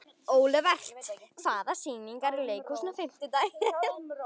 Olivert, hvaða sýningar eru í leikhúsinu á fimmtudaginn?